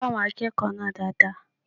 Kọ àwọn akẹ́kọ̀ọ́ náà dáadáa